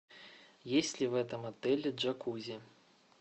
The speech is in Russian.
есть ли в этом отеле джакузи